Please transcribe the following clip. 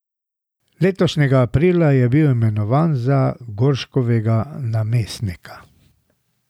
Letošnjega aprila je bil imenovan za Gorškovega namestnika.